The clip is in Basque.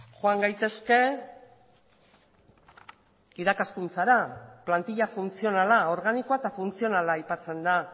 joan gaitezke irakaskuntzara plantila funtzionala organikoa eta funtzionala aipatzen da